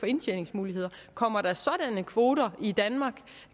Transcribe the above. indtjeningsmuligheder kommer der sådanne kvoter i danmark